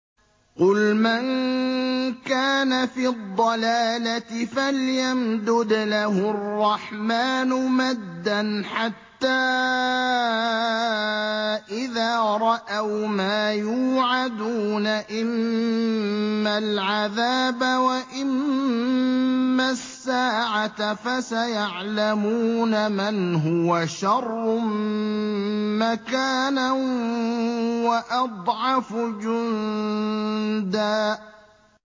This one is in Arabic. قُلْ مَن كَانَ فِي الضَّلَالَةِ فَلْيَمْدُدْ لَهُ الرَّحْمَٰنُ مَدًّا ۚ حَتَّىٰ إِذَا رَأَوْا مَا يُوعَدُونَ إِمَّا الْعَذَابَ وَإِمَّا السَّاعَةَ فَسَيَعْلَمُونَ مَنْ هُوَ شَرٌّ مَّكَانًا وَأَضْعَفُ جُندًا